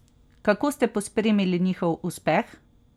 Kako ste pospremili njihov uspeh?